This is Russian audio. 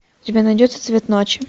у тебя найдется цвет ночи